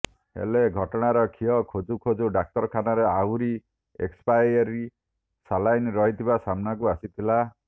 ହେଲେ ଘଟଣାର ଖିଅ ଖୋଜୁ ଖୋଜୁ ଡାକ୍ତରଖାନାରେ ଆହୁରି ଏକ୍ସପାଏରି ସାଲାଇନ୍ ରହିଥିବା ସାମ୍ନାକୁ ଆସିଥିଲା